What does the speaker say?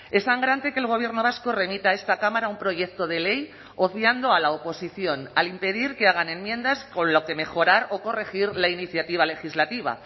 es sangrante que el gobierno vasco remita a esta cámara un proyecto de ley obviando a la oposición al impedir que hagan enmiendas con lo que mejorar o corregir la iniciativa legislativa